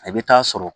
A bɛ taa sɔrɔ